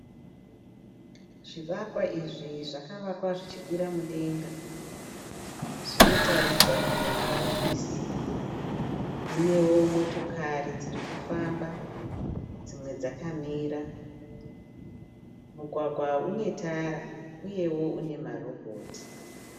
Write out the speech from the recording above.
Zvivakwa izvi zvakavakwa zvichikwira mudenga. Zvinoratidza kunge mahofisi, munewo motokari dziri kufamba dzimwe dzakamira . Mugwagwa uyu une tara uyewo une ma robhoti.